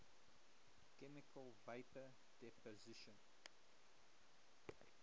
chemical vapor deposition